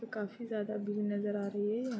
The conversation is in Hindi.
काफी ज्यादा दूरी नजर आ रही है यह --